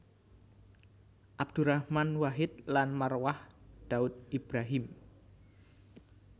Abdurrahman Wahid lan Marwah Daud Ibrahim